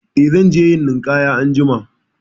Eh, zan je yin ninƙaya anjima.